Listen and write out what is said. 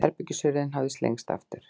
Herbergishurðin hafði slengst aftur.